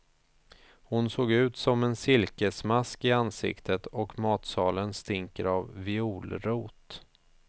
Hon såg ut som en silkesmask i ansiktet, och matsalen stinker av violrot.